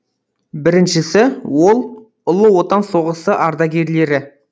біріншісі ол ұлы отан соғысы ардагерлері